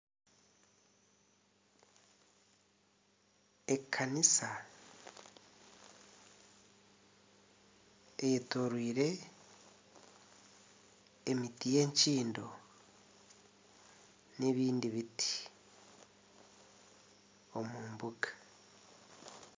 Ekanisa eyetoreire emiti y'ekyindo n'ebindi biti omu mbuga.